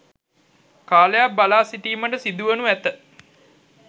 කාලයක් බලා සිටීමට සිදුවනු ඇත.